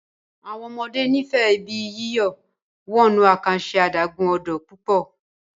àwọn ọmọdé n'ifẹ Ibi yíyọ̀ wọnú àkànṣe adágún-odò pupo